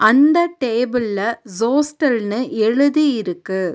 அந்த டேபிளில ஜோஸ்டல்னு எழுதி இருக்கு.